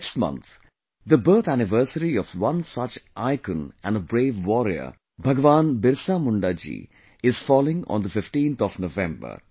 Next month, the birth anniversary of one such icon and a brave warrior, Bhagwan Birsa Munda ji is falling on the 15th of November